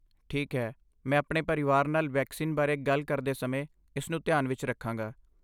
ਠੀਕ ਹੈ, ਮੈਂ ਆਪਣੇ ਪਰਿਵਾਰ ਨਾਲ ਵੈਕਸੀਨ ਬਾਰੇ ਗੱਲ ਕਰਦੇ ਸਮੇਂ ਇਸ ਨੂੰ ਧਿਆਨ ਵਿੱਚ ਰੱਖਾਂਗਾ।